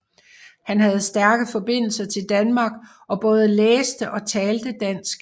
Han havde stærke forbindelser til Danmark og både læste og talte dansk